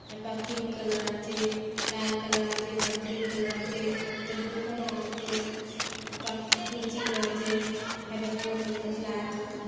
हत pink colour आचे लाल कलर आचे पट ग्रीन कलर आचे हल त खोला आचे --